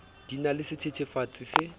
di na le sethethefatsi se